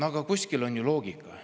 Aga kuskil on ju loogika.